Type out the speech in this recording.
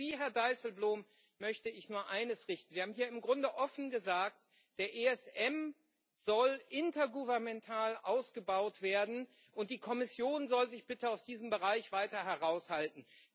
Und an Sie, Herr Dijsselbloem, möchte ich nur eines richten. Sie haben hier im Grunde offen gesagt Der ESM soll intergovernmental ausgebaut werden und die Kommission soll sich bitte aus diesem Bereich weiter heraushalten.